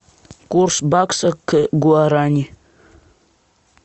курс бакса к гуарани